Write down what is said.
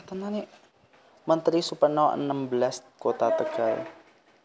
Menteri Supeno enem belas Kota Tegal